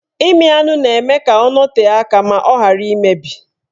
Ịmị anụ na-eme ka ọ nọtee aka ma ghara imebi